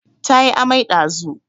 Ta yi amai ɗazu